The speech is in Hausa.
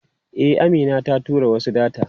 E, Amina ta tura wasu data.